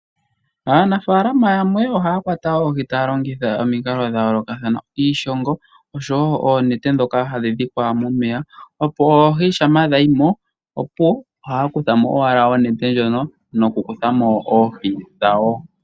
Aanafalama yamwe ohaya kwata oohi taya longitha omikalo dha yoolokathana. Iishongo oshowo oonete ndhoka hadhi dhikwa momeya opo oohi shampa dha yi mo, opuwo ohaya kutha mo owala onete ndjono nokukutha mo oohi dhawo.